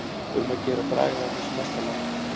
Um að gera að draga þetta sem mest á langinn.